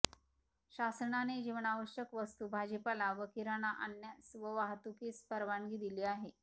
शासनाने जीवनावश्यक वस्तू भाजीपाला व किराणा आणण्यास व वाहतुकीस परवानगी दिली आहे